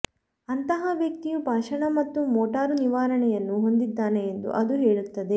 ಅಂತಹ ವ್ಯಕ್ತಿಯು ಭಾಷಣ ಮತ್ತು ಮೋಟಾರು ನಿವಾರಣೆಯನ್ನು ಹೊಂದಿದ್ದಾನೆ ಎಂದು ಅದು ಹೇಳುತ್ತದೆ